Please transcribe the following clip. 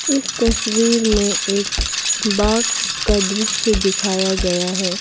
इस तस्वीर में एक बाग का दृश्य दिखाया गया है।